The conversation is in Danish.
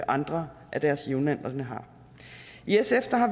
andre af deres jævnaldrende i sf